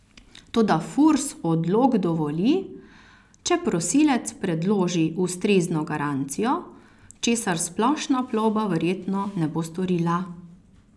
Toda Furs odlog dovoli, če prosilec predloži ustrezno garancijo, česar Splošna plovba verjetno ne bo storila.